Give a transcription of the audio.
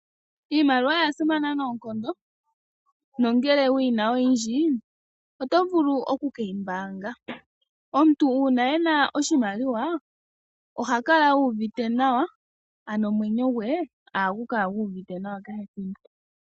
Iimaliwa oya simana noonkondo, nongele wuyi na oyindji, oto vulu oku keyi mbaanga. Omuntu uuna e na oshimaliwa oha kala uuvite nawa, ano omwenyo gwe ohagu kala gu uvite nawa.